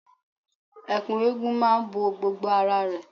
Ẹ̀kú eégún máa ń bo gbogbo ara rẹ.